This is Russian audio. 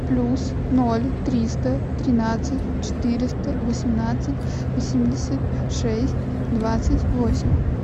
плюс ноль триста тринадцать четыреста восемнадцать восемьдесят шесть двадцать восемь